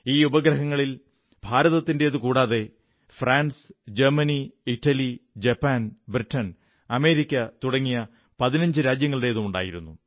ഈ ഉപഗ്രഹങ്ങളിൽ ഭാരതത്തിന്റേതു കൂടാതെ France Germany Italy Japan Britain America തുടങ്ങിയ 15 രാജ്യങ്ങളുടേതുമുണ്ടായിരുന്നു